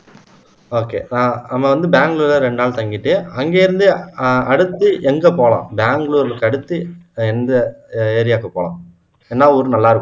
okay அஹ் நம்ம வந்து பெங்களூர்ல ரெண்டு நாள் தங்கிட்டு அங்க இருந்து அஹ் அடுத்து எங்க போலாம் பெங்களூருக்கு அடுத்து எந்த அஹ் ஏரியாக்கு போலாம் என்ன ஊர் நல்லா இருக்கும்